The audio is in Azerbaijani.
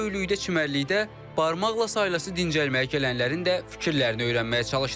Bu böyüklükdə çimərlikdə barmaqla sayılan istirahətə gələnlərin də fikirlərini öyrənməyə çalışdıq.